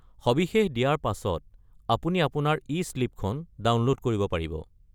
সবিশেষ দিয়াৰ পাছত আপুনি আপোনাৰ ই-শ্লিপখন ডাউনল'ড কৰিব পাৰিব।